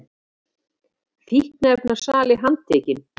Fíkniefnasali handtekinn